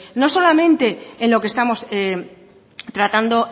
no solamente en lo que estamos tratando